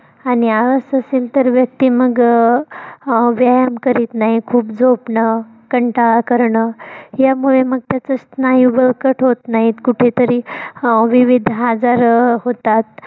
आणि आळस असेल तर व्यक्ती मग अं व्यायाम करीत नाही खूप झोपण, कंटाळा करण यामुळे मग त्याच होत नाहीत कुठेतरी अं विविध आजार अं होतात.